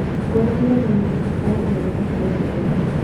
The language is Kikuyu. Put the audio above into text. Ngoranire na gĩkundi kĩa andũ magĩtheka na gĩkeno.